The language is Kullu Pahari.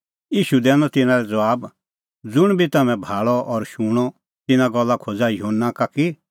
ईशू दैनअ तिन्नां लै ज़बाब ज़ुंण बी तम्हैं भाल़अ और शूणअ तिन्नां गल्ला खोज़ा युहन्ना का कि